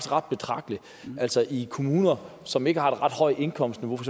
ret betragteligt altså i kommuner som ikke har et ret højt indkomstniveau for